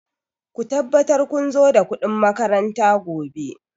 Ku tabbatar kun zo da kuɗin makaranta gobe!